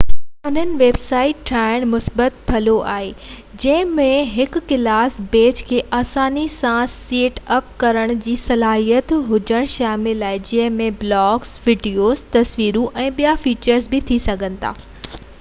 انهن ويب سائيٽن ڏانهن مثبت پهلو آهن جنهن ۾ هڪ ڪلاس پيج کي آساني سان سيٽ اپ ڪرڻ جي صلاحيت هجڻ شامل آهي جنهن ۾ بلاگز ويڊيوز تصويرون ۽ ٻيا فيچر ٿي سگهن ٿا